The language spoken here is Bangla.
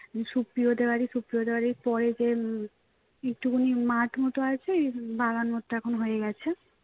সুপ্রিয়দের বাড়ি সুপ্রিয়দের বাড়ির পরে যে উম একটুখানি মাঠ মত আছে বাগান মত হয়ে গেছে